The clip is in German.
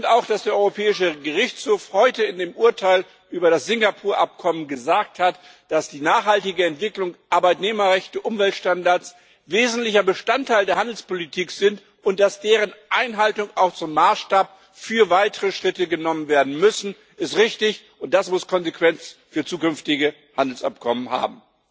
Auch, dass der Europäische Gerichtshof heute in dem Urteil über das Singapur-Abkommen gesagt hat, dass die nachhaltige Entwicklung, Arbeitnehmerrechte und Umweltstandards wesentlicher Bestandteil der Handelspolitik sind, und dass deren Einhaltung auch zum Maßstab für weitere Schritte genommen werden muss, ist richtig und das muss Konsequenzen für zukünftige Handelsabkommen haben.